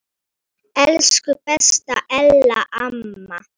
Elsku besta Ella amma.